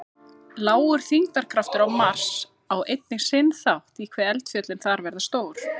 Lágur þyngdarkraftur á Mars á einnig sinn þátt í hve eldfjöllin þar verða stór.